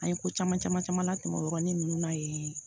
An ye ko caman caman caman la tɛmɛ o yɔrɔnin ninnu na yen